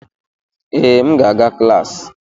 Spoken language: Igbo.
Ee, m ga-aga klas.